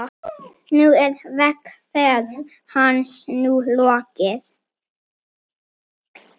Nú er vegferð hans lokið.